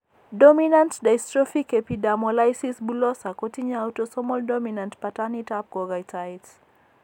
Dominant dystrophic epidermolysis bullosa kotinye autosomal dominant pattanit ab kokoitoet